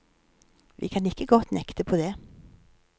Vi kan ikke godt nekte på det.